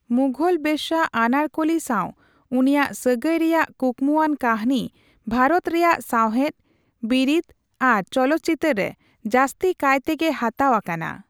ᱢᱩᱜᱷᱚᱞ ᱵᱮᱥᱥᱟ ᱟᱱᱟᱨᱠᱩᱞᱤ ᱥᱟᱣ ᱩᱱᱤᱭᱟᱜ ᱥᱟᱜᱟᱹᱭ ᱨᱮᱭᱟᱜ ᱠᱩᱠᱢᱩᱣᱟᱱ ᱠᱟᱹᱦᱱᱤ ᱣᱟᱨᱚᱛ ᱨᱮᱭᱟᱜ ᱥᱟᱣᱦᱮᱫ, ᱵᱤᱨᱤᱫ ᱟᱨ ᱪᱚᱞᱚᱛᱪᱤᱛᱟᱹᱨ ᱨᱮ ᱡᱟᱹᱥᱛᱤ ᱠᱟᱭ ᱛᱮᱜᱤ ᱦᱟᱛᱟᱣ ᱟᱠᱟᱱᱟ ᱾